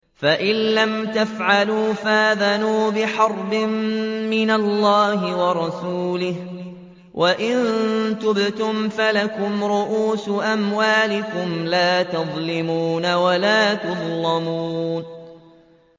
فَإِن لَّمْ تَفْعَلُوا فَأْذَنُوا بِحَرْبٍ مِّنَ اللَّهِ وَرَسُولِهِ ۖ وَإِن تُبْتُمْ فَلَكُمْ رُءُوسُ أَمْوَالِكُمْ لَا تَظْلِمُونَ وَلَا تُظْلَمُونَ